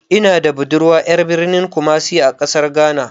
Ina da budurwa ƴar birnin kumasi na ƙasar ghana.